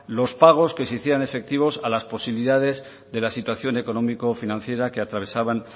los pagos que existían en efectivo a las posibilidades de la situación económico financiera que atravesaban